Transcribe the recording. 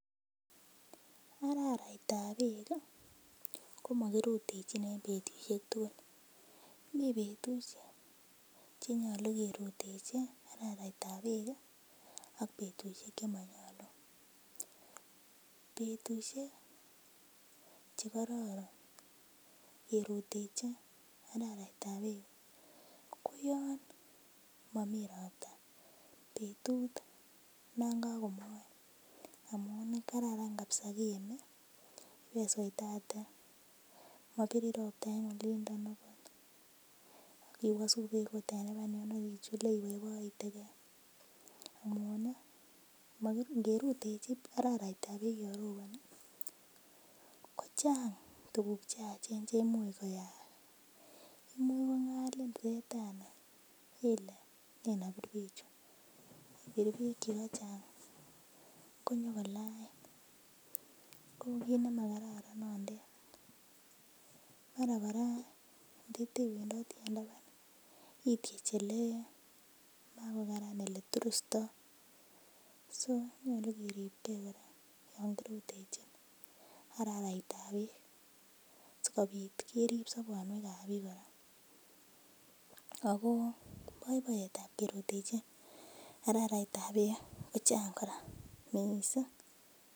Araraitab beek ih komokirutechin en betusiek tugul, mii betusiek chenyolu kerutechi araraitab beek ih ak betusiek chemonyolu. Betusiek chekororon kerutechi araraitab beek ih ko yon momii ropta betut non kakomoen amun kararan kabisa kiemi ibesoitate mobirin ropta en olindo okot ak iwosu beek ot en taban yon ak ichule iboiboitegee amun ih ngerutechi araraitab beek yon roboni kochang' tuguk cheyachen cheimuch koyaak. Imuch kong'alin setani ile nen obir bechu ibir beek chukachang' konyokolain ko kit nemakaran nondet mara kora nditewendoti en taban ityech ele makokaran eleturustoo so nyolu keribgee kora yan kirutechin araraitab beek sikobit kerip sobonwek ab biik kora ako boiboiyet ab kerutechi araraitab beek kochang' kora missing'.